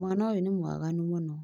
Mwana ũyũ nĩ mwaganu mũno